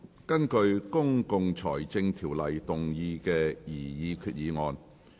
根據《公共財政條例》動議的擬議決議案。